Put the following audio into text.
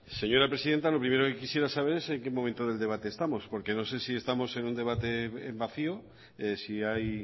señora presidenta lo primero que quisiera saber es en qué momento del debate estamos porque no sé si estamos en un debate vacío si hay